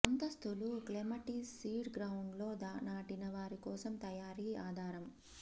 అంతస్థులు clematis seed ground లో నాటిన వారి కోసం తయారీ ఆధారం